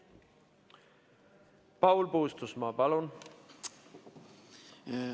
Paul Puustusmaa, palun!